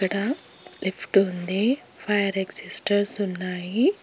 ఇక్కడ లిఫ్ట్ ఉంది fire extinguishers ఉన్నాయి.